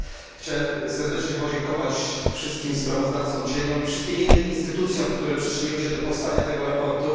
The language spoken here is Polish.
Chciałbym serdecznie podziękować wszystkim sprawozdawcom cieniom i wszystkim innym instytucjom, które przyczyniły się do powstania tego sprawozdania.